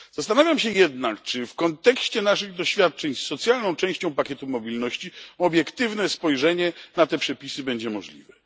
Zastanawiam się jednak, czy w kontekście naszych doświadczeń z socjalną częścią pakietu mobilności obiektywne spojrzenie na te przepisy będzie możliwe.